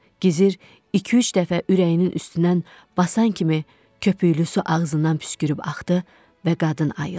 Gizir iki-üç dəfə ürəyinin üstündən basan kimi köpüklü su ağzından püskürüb axdı və qadın ayıldı.